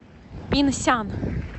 пинсян